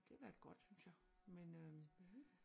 Det har været godt synes jeg men øh